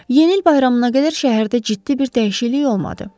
Yeni il bayramına qədər şəhərdə ciddi bir dəyişiklik olmadı.